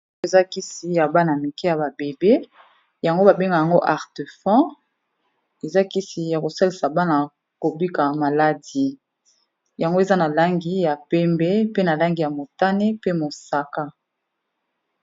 Oyo eza kisi ya bana mike ya ba bebe, yango ba bengaka yango Artefan. Eza kisi ya ko salisa bana ko bika maladie, yango eza na langi ya pembe, pe na langi ya motane, pe mosaka.